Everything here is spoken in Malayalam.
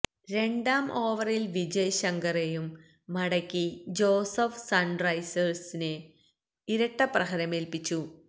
രണ്ടാം ഓവറില് വിജയ് ശങ്കറെയും മടക്കി ജോസഫ് സണ്റൈസേഴ്സിന് ഇരട്ടപ്രഹരമേല്പ്പിച്ചു